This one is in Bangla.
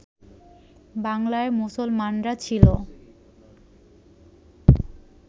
বাংলার মুসলমানরা ছিল